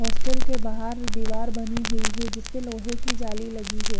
Hostel के बाहर दीवार बनी हुई है जिसपे लोहे की जाली लगी है।